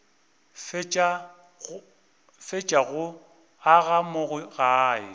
fetša go aga mo gae